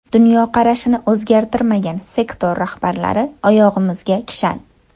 Dunyoqarashini o‘zgartirmagan sektor rahbarlari oyog‘imizga kishan.